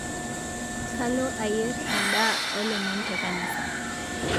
kalo ayier ndaa elomon tenkanisa